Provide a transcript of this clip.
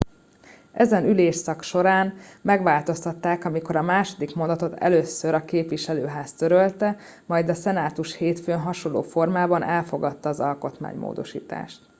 ezen ülésszak során megváltoztatták amikor a második mondatot először a képviselőház törölte majd a szenátus hétfőn hasonló formában elfogadta az alkotmánymódosítást